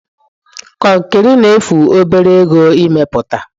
Konkiri na-efu obere ego ime puta.